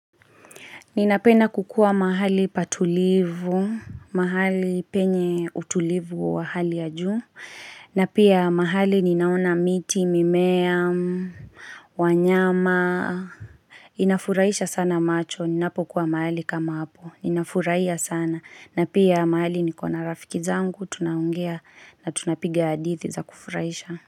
Ninapenda kukua mahali patulivu, mahali penye utulivu wa hali ya juu, na pia mahali ninaona miti, mimea, wanyama. Inafuraisha sana macho, ninapo kuwa mahali kama hapo, inafuraia sana. Na pia mahali nikona rafiki zangu, tunaongea na tunapiga hadithi za kufuraisha.